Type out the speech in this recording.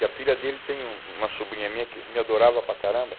E a filha dele tem um uma sobrinha minha que me adorava para caramba.